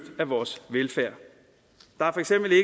af vores velfærd der